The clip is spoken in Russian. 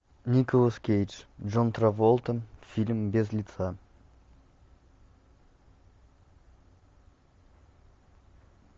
николас кейдж джон траволта фильм без лица